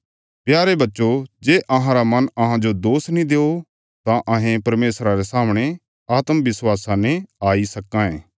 प्यारे बच्चो जे अहांरा मन अहांजो दोष नीं देओ तां अहें परमेशरा रे सामणे आत्म विश्वासा ने आई सक्कां ये